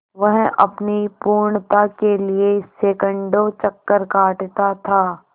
वह अपनी पूर्णता के लिए सैंकड़ों चक्कर काटता था